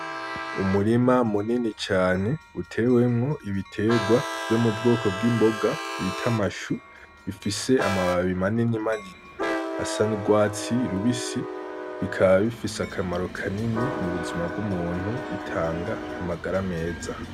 Umurima munini cane utewemwo ibitegwa vyo mu bwoko bw'imboga bita amashu bifise amababi manini manini asa n'urwatsi rubisi bikaba bifise akamaro kanini mu buzima bw'umuntu, bitanga amagara meza.